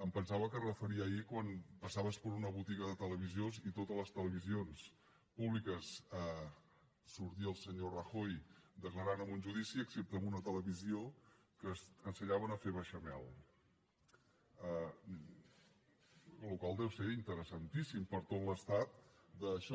em pensava que es referia a ahir quan passaves per una botiga de televisors i a totes les televisions públiques sortia el senyor rajoy declarant en un judici excepte en una televisió que ensenyaven a fer beixamel la qual cosa deu ser interessantíssima per a tot l’estat això